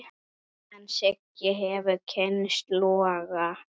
En Siggi hefur kynnst loga.